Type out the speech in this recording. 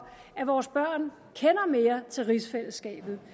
at vores børn kender mere til rigsfællesskabet